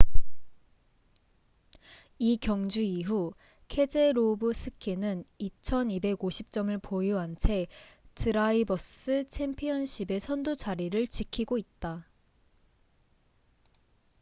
이 경주 이후 케제로브스키는 2,250점을 보유한 채 드라이버스 챔피언십의 선두 자리를 지키고 있다